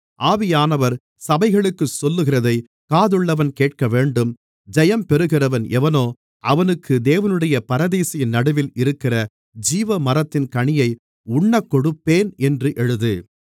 ஆவியானவர் சபைகளுக்குச் சொல்லுகிறதைக் காதுள்ளவன் கேட்கவேண்டும் ஜெயம் பெறுகிறவன் எவனோ அவனுக்கு தேவனுடைய பரதீசின் நடுவில் இருக்கிற ஜீவமரத்தின் கனியை உண்ணக்கொடுப்பேன் என்று எழுது